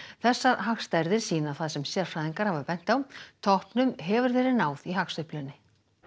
þessar hagstærðir sýna það sem sérfræðingar hafa bent á toppnum hefur verið náð í hagsveiflunni